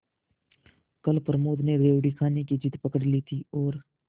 कल प्रमोद ने रेवड़ी खाने की जिद पकड ली थी और